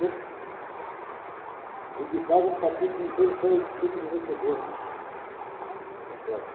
Eu dedicava um capítulo inteiro só a esse tipo de divertidores. Está certo